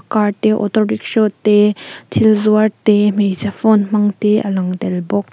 car te auto rickshaw te thil zuar te hmeichhe phone hmang te a lang tel bawk.